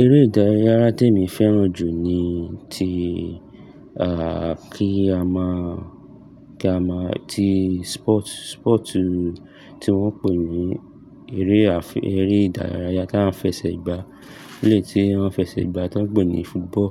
Eré ìdárayá tèmi fẹ́ràn jù ni ti, kí a máa, kí a máa, ti sport, sport tí wọ́n ń pè ní eré àfẹ́, eré ìdárayá tá ń fẹsẹ̀ gbà. Ile tí wọ́n fẹsẹ̀ gbà tí wọ́n ń pè ní football.